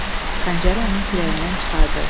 Xəncəri onun kürəyindən çıxartdı.